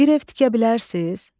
Bir ev tikə bilərsiz?